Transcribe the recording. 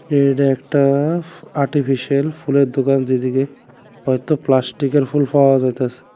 এর একটা ফু-আর্টিফিশাল ফুলের দোকান যেদিকে হয়তো প্লাস্টিকের ফুল পাওয়া যাইতাসে।